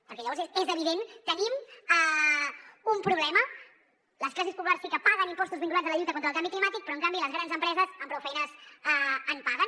perquè llavors és evident que tenim un problema les classes populars sí que paguen impostos vinculats a la lluita contra el canvi climàtic però en canvi les grans empreses amb prou feines en paguen